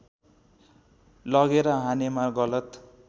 लगेर हानेमा गलत